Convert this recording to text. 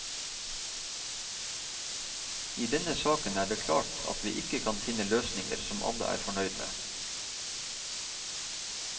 I denne saken er det klart at vi ikke kan finne løsninger som alle er fornøyd med.